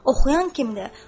Oxuyan kimdir?